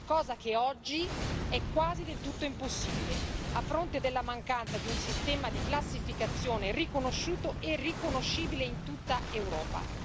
Cosa che oggi è quasi del tutto impossibile, a fronte della mancanza di un sistema di classificazione riconosciuto e riconoscibile in tutta Europa.